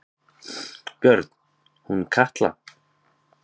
Björn: Hún Katla?